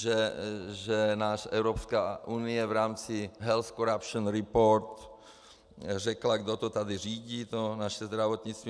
Že nám Evropská unie v rámci Health Corruption Report řekla, kdo to tady řídí, to naše zdravotnictví.